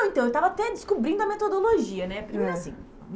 Então eu estava até descobrindo a metodologia, né? Primeiro assim. É